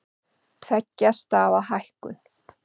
Tveggja stafa hækkun